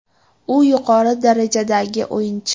U yuqori darajadagi o‘yinchi.